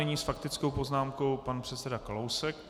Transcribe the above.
Nyní s faktickou poznámkou pan předseda Kalousek.